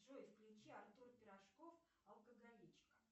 джой включи артур пирожков алкоголичка